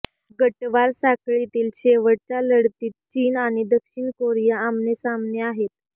गटवार साखळीतील शेवटच्या लढतीत चीन आणि दक्षिण कोरिया आमनेसामने आहेत